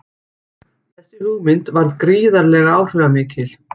Þessi hugmynd varð gríðarlega áhrifamikil.